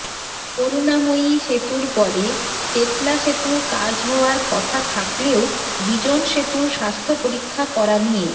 করুণাময়ী সেতুর পরে চেতলা সেতুর কাজ হওয়ার কথা থাকলেও বিজন সেতুর স্বাস্থ্য পরীক্ষা করা নিয়ে